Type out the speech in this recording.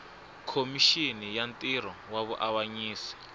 khomixini ya ntirho wa vuavanyisi